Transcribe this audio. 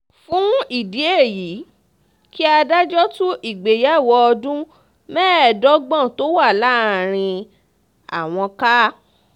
fún ìdí èyí kí adájọ́ tú ìgbéyàwó ọdún mẹ́ẹ̀ẹ́dọ́gbọ̀n tó wà láàrin àwọn ká